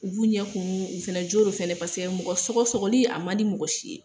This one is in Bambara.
U b'u ɲɛ koo , u fɛnɛ jo do fɛnɛ pasɛkɛ mɔgɔ sogo-sɔgɔli a man di mɔgɔ si ye.